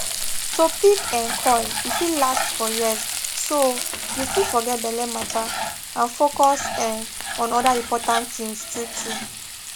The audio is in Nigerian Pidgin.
to pick um coil e fit last for years so you fit forget belle matter and focus um on other important tins true true